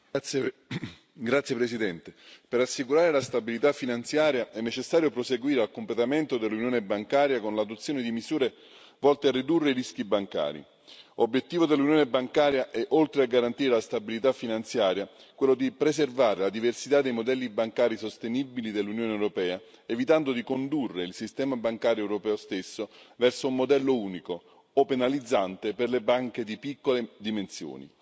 Signor Presidente, onorevoli colleghi, per assicurare la stabilità finanziaria è necessario proseguire verso il completamento dell'Unione bancaria con l'adozione di misure volte a ridurre i rischi bancari. Obiettivo dell'Unione bancaria è, oltre a garantire la stabilità finanziaria, quello di preservare la diversità dei modelli bancari sostenibili dell'Unione europea, evitando di condurre il sistema bancario europeo stesso verso un modello unico o penalizzante per le banche di piccole dimensioni,